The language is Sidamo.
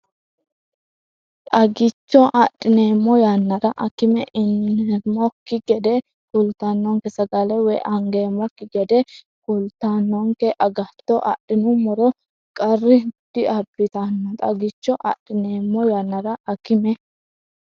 Xagicho adhineemmo yannara akime ineemmokki gede kultinonke sagale woy angeemmokki gede kultinonke agatto adhinummoro qar- diabbitanno Xagicho adhineemmo yannara akime.